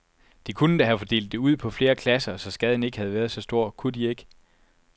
De kunne da have fordelt det ud på flere klasser, så skaden ikke havde været så stor, kunne de ikke?